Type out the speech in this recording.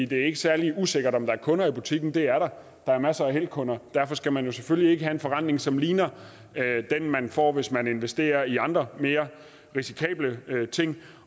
det er ikke særlig usikkert om der er kunder i butikken for det er der der er masser af elkunder og derfor skal man selvfølgelig ikke have en forrentning som ligner den man får hvis man investerer i andre mere risikable ting